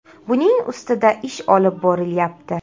Buning ustida ish olib borilyapti.